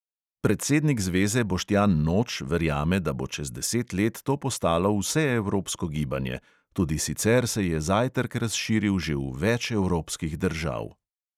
Predsednik zveze boštjan noč verjame, da bo čez deset let to postalo vseevropsko gibanje, tudi sicer se je zajtrk razširil že v več evropskih držav.